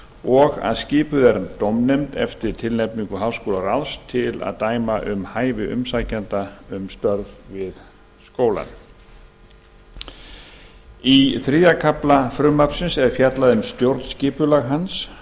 og að skipuð sé dómnefnd eftir tilnefningu háskólaráðs til að dæma um hæfi umsækjenda um störf við skólann í þriðja kafla frumvarpsins er fjallað um stjórnskipulag hans